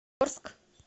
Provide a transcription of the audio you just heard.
орск